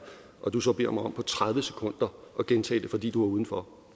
og du så beder mig om på tredive sekunder at gentage det fordi du var udenfor